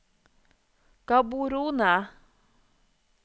Gaborone